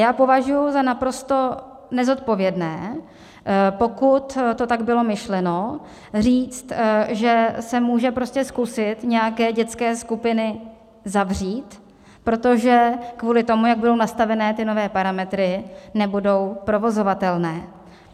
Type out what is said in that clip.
Já považuji za naprosto nezodpovědné, pokud to tak bylo myšleno, říct, že se může prostě zkusit nějaké dětské skupiny zavřít, protože kvůli tomu, jak budou nastavené ty nové parametry, nebudou provozovatelné.